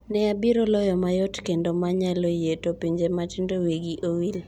"Ne abiro loyo mayot kendo ma nyalo yie (to pinje matindo wigi owil)!"